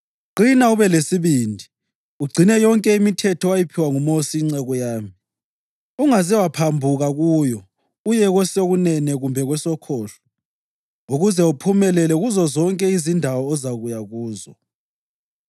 Qina ube lesibindi. Ugcine yonke imithetho owayiphiwa nguMosi inceku yami, ungaze waphambuka kuyo uye kwesokunene kumbe kwesokhohlo ukuze uphumelele kuzozonke izindawo ozakuya kuzo.